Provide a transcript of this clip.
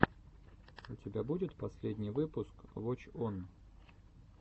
у тебя будет последний выпуск воч он